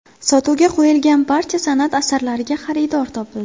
Sotuvga qo‘yilgan barcha san’at asarlariga xaridor topildi.